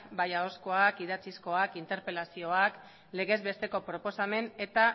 bai ahozkoaz idatzizkoak interpelazioak legez besteko proposamen eta